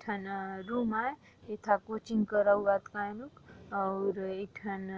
एक ठन रूम आए एक ठन कोचिंग करौअया और एक ठन